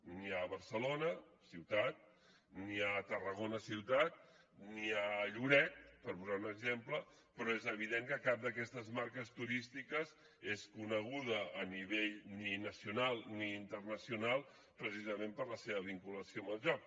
n’hi ha a barcelona ciutat n’hi ha a tarragona ciutat n’hi ha a lloret per posar un exemple però és evident que cap d’aquestes marques turístiques és coneguda a nivell ni nacional ni internacional precisament per la seva vinculació amb el joc